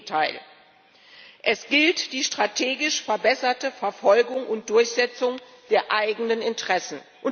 Im Gegenteil Es gilt die strategisch verbesserte Verfolgung und Durchsetzung der eigenen Interessen.